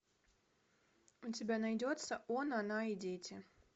у тебя найдется он она и дети